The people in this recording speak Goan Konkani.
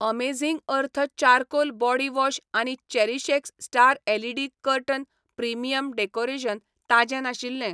Amazing earth charcoal body wash आनी CherishX star LED curtain premium decoration ताजें नाशिल्ले.